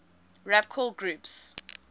rapcore groups